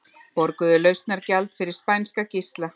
Borguðu lausnargjald fyrir spænska gísla